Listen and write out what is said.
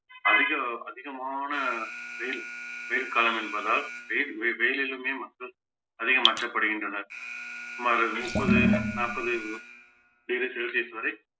அதிக அதிகமான வெயில் வெயில் காலம் என்பதால் வெயில் வெ~ வெயிலிலுமே மக்கள் அதிகம் மாற்றப்படுகின்றனர் சுமார் முப்பது நாற்பது degree celsius வரை